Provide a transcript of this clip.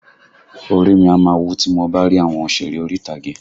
Orí i mi a máa wú tí mo bá rí àwọn òsèré orí ìtàgé